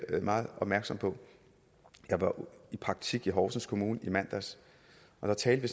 meget opmærksom på jeg var i praktik i horsens kommune i mandags og der talte